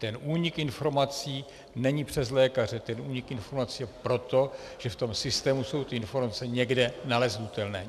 Ten únik informací není přes lékaře, ten únik informací je proto, že v tom systému jsou ty informace někde nalezitelné.